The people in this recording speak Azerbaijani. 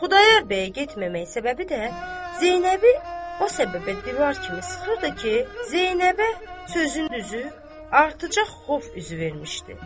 Xudayar bəyə getməmək səbəbi də Zeynəbi o səbəbə divar kimi sıxırdı ki, Zeynəbə sözün düzü, artacaq xof üzü vermişdi.